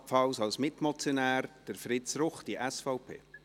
Ebenfalls als Mitmotionär: Fritz Ruchti, SVP.